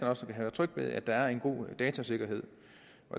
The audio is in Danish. også kan være trygge ved at der er en god datasikkerhed